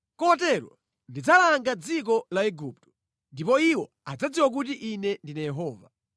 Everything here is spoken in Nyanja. Kotero ndidzalanga dziko la Igupto, ndipo iwo adzadziwa kuti Ine ndine Yehova.’ ”